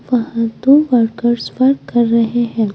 वहां दो workers work कर रहे हैं।